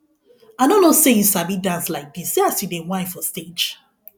i no know say you sabi dance like dis see as you dey shine for stage